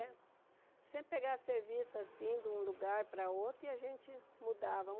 É. Sempre pegava serviço, assim, de um lugar para o outro, e a gente mudava.